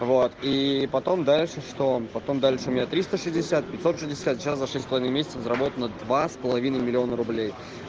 вот и потом дальше что потом дальше у меня триста шестьдесят пятьсот шестьдесят сейчас за шесть с половиной месяцев заработано на два с половиной миллиона рублей